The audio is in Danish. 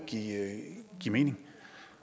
ikke giver mening